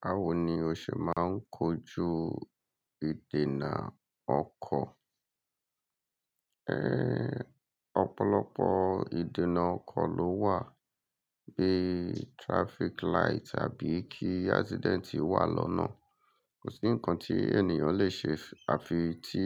Báwo ni o ṣẹ máa ń kojú ìdènà ọkọ̀? Èé, ọ̀pọ̀lọpọ̀ ìdènà ọkọ̀ ló wà, bíi traffic light àbí kí accident wà lọ́nà. Kò sí nǹkan tí ènìyàn lè ṣe àfi tí